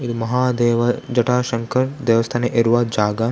ಇದು ಮಹಾದೇವರ್‌ ಜಟಾಶಂಕರ್‌ ದೇವಸ್ಥಾನ ಇರುವ ಜಾಗ .